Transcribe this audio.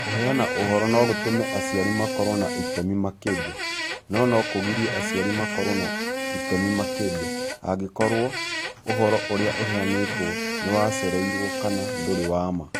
Kũheana ũhoro no gũtũme aciari makorũo na itemi makĩria, no no kũgirie aciari makorũo na itemi makĩria, angĩkorũo ũhoro ũrĩa ũheanĩtwo nĩ wacererũo kana ndũrĩ wa ma.